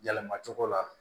Yɛlɛma cogo la